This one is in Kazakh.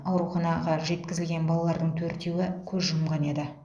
ауруханаға жеткізілген балалардың төртеуі көз жұмған еді